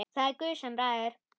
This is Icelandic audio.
Það er Guð sem ræður.